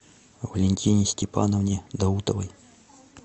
валентине степановне даутовой